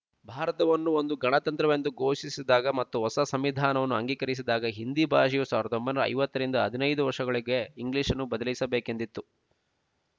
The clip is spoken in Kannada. ಭಾರತವನ್ನು ಒಂದು ಗಣತಂತ್ರವೆಂದು ಘೋಷಿಸಿದಾಗ ಮತ್ತು ಹೊಸ ಸಂವಿಧಾನವನ್ನು ಅಂಗೀಕರಿಸಿದಾಗ ಹಿಂದಿ ಭಾಷೆಯು ಸಾವಿರದ ಒಂಬೈನೂರ ಐವತ್ತರಿಂದ ಹದಿನೈದು ವರ್ಷಗಳಿಗೆ ಇಂಗ್ಲೀಷನ್ನು ಬದಲಿಸಬೇಕೆಂದಿತ್ತು